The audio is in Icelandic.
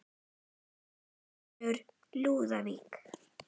Þinn sonur, Lúðvík.